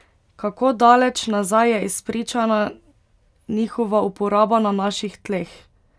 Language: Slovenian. Kako daleč nazaj je izpričana njihova uporaba na naših tleh?